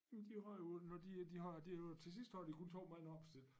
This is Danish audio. Men de har jo når de er de har det jo til sidst har de kun 2 mand opstillet